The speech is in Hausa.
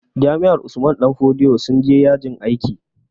Jami'ar Usman danfodiyo sun je yajin aiki